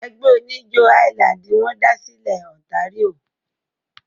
Ẹgbẹ́ oníjó highland wọ́n da sílẹ̀ Ontario.